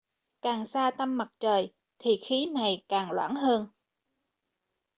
càng ở xa tâm mặt trời thì khí này càng loãng hơn